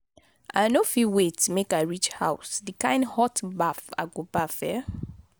i no go fit wait make i reach house the kin hot baff i go baff eh.